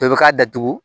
Dɔ bɛ k'a datugu